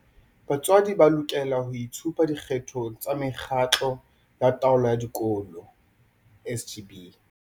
Batswadi ba lokela ho itshupa dikgethong tsa Mekgatlo ya Taolo ya Dikolo SGB.